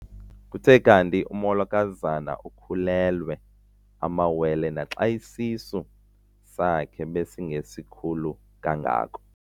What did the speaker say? Kuthe kanti umolokazana ukhulelwe amawele naxa isisu sakhe besingesikhulu kangako.